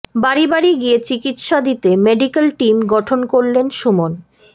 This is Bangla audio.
বাড়ি বাড়ি গিয়ে চিকিৎসা দিতে মেডিকেল টিম গঠন করলেন সুমন